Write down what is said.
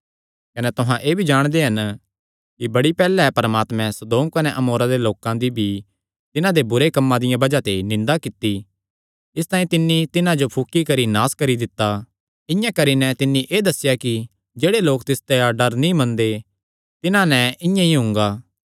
कने तुहां एह़ भी जाणदे हन कि बड़ी पैहल्ले परमात्मे सदोम कने अमोरा दे लोकां दी भी तिन्हां दे बुरे कम्मां दिया बज़ाह ते निंदा कित्ती इसतांई तिन्नी तिन्हां जो फुकी करी नास करी दित्ता इआं करी नैं तिन्नी एह़ दस्सेया कि जेह्ड़े लोक तिसदा डर नीं मनदे तिन्हां नैं इआं ई हुंगा